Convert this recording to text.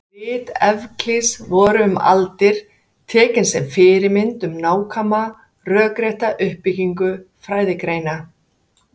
rit evklíðs voru um aldir tekin sem fyrirmynd um nákvæma rökrétta uppbyggingu fræðigreinar